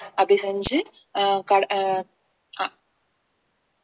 அப்படி செஞ்சு ஆஹ் ஆஹ்